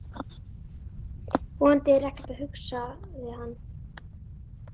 Vonandi er ekkert að, hugsaði hann.